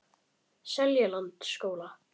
Seljalandsskóla